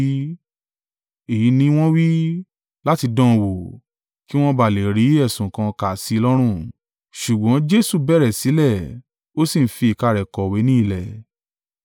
Èyí ni wọ́n wí, láti dán án wò, kí wọn ba à lè rí ẹ̀sùn kan kà sí i lọ́rùn. Ṣùgbọ́n Jesu bẹ̀rẹ̀ sílẹ̀, ó sì ń fi ìka rẹ̀ kọ̀wé ní ilẹ̀.